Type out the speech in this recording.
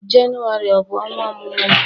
Jenụwarị ọ bụ ọnwa ọmụmụ gị?